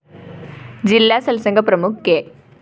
ജില്ലാ സത്സംഗ പ്രമുഖ് കെ